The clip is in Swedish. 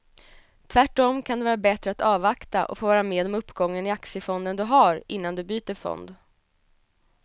Tvärtom kan det vara bättre att avvakta och få vara med om uppgången i aktiefonden du har innan du byter fond.